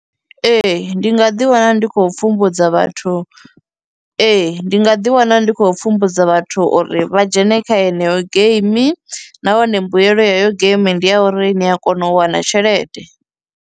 Ee, ndi nga ḓi wana ndi khou pfhumbudza vhathu, ee ndi nga ḓi wana ndi khou pfhumbudza vhathu uri vha dzhene kha yeneyo game nahone mbuyelo ya heyo game ndi ya uri ni a kona u wana tshelede.